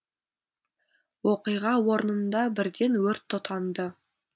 оқиға орнында бірден өрт тұтанды